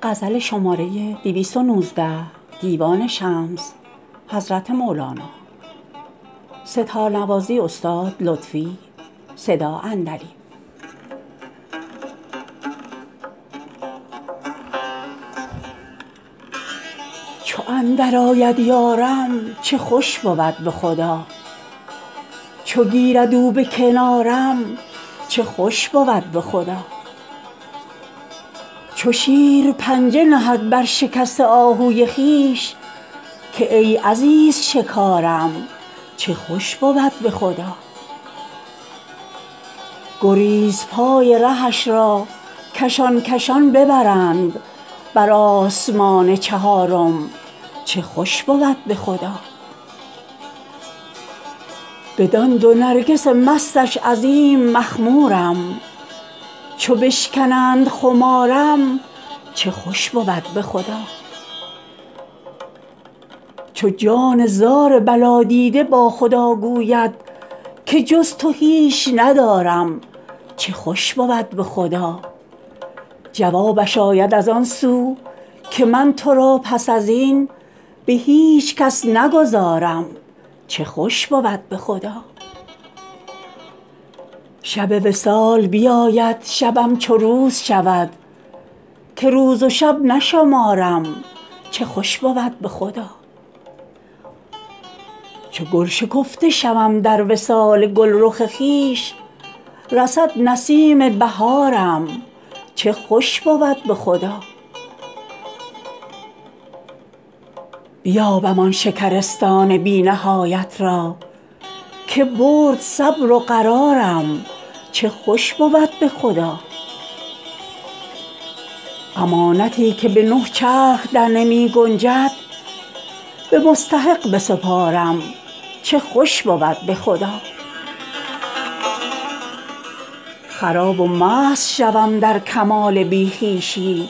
چو اندرآید یارم چه خوش بود به خدا چو گیرد او به کنارم چه خوش بود به خدا چو شیر پنجه نهد بر شکسته آهوی خویش که ای عزیز شکارم چه خوش بود به خدا گریزپای رهش را کشان کشان ببرند بر آسمان چهارم چه خوش بود به خدا بدان دو نرگس مستش عظیم مخمورم چو بشکنند خمارم چه خوش بود به خدا چو جان زار بلادیده با خدا گوید که جز تو هیچ ندارم چه خوش بود به خدا جوابش آید از آن سو که من تو را پس از این به هیچ کس نگذارم چه خوش بود به خدا شب وصال بیاید شبم چو روز شود که روز و شب نشمارم چه خوش بود به خدا چو گل شکفته شوم در وصال گلرخ خویش رسد نسیم بهارم چه خوش بود به خدا بیابم آن شکرستان بی نهایت را که برد صبر و قرارم چه خوش بود به خدا امانتی که به نه چرخ درنمی گنجد به مستحق بسپارم چه خوش بود به خدا خراب و مست شوم در کمال بی خویشی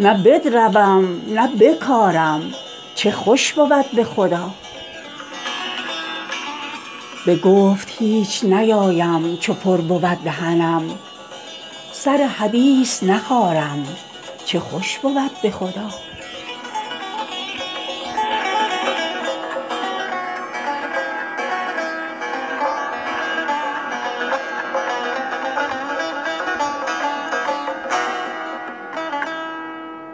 نه بدروم نه بکارم چه خوش بود به خدا به گفت هیچ نیایم چو پر بود دهنم سر حدیث نخارم چه خوش بود به خدا